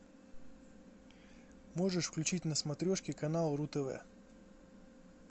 можешь включить на смотрешке канал ру тв